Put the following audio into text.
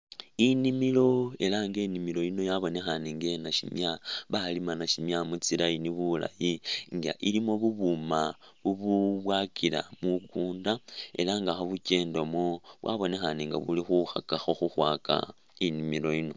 Inimilo ela nga inimilo yino yabonekhane nga eya nashimya, balima nashimya mu tsi'line bulayi nga ilimo bubuma bububwakila mukunda ela nga khobekyendamo, bwabonekhane nga buli khukhakakho khukhwaka inimilo yino